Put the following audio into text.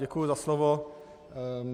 Děkuju za slovo.